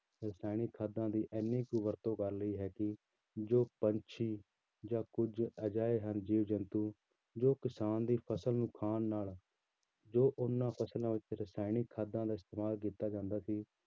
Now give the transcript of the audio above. ਰਸਾਇਣਿਕ ਖਾਦਾਂ ਦੀ ਇੰਨੀ ਕੁ ਵਰਤੋਂ ਕਰ ਲਈ ਹੈ ਕਿ ਜੋ ਪੰਛੀ ਜਾਂ ਕੁੱਝ ਅਜਿਹੇ ਹਨ ਜੀਵ ਜੰਤੂ ਜੋ ਕਿਸਾਨ ਦੀ ਫ਼ਸਲ ਨੂੰ ਖਾਣ ਨਾਲ ਜੋ ਉਹਨਾਂ ਫ਼ਸਲਾਂ ਵਿੱਚ ਰਸਾਇਣਿਕ ਖਾਦਾਂ ਦਾ ਇਸਤੇਮਾਲ ਕੀਤਾ ਜਾਂਦਾ ਸੀ